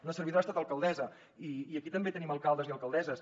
una servidora ha estat alcaldessa i aquí també tenim alcaldes i alcaldesses